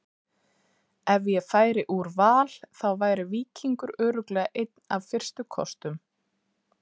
Ef ég færi úr Val þá væri Víkingur örugglega einn af fyrstu kostum.